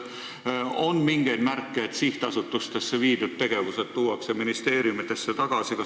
Kas on mingeid märke, et sihtasutustesse viidud tegevused tuuakse ministeeriumidesse tagasi?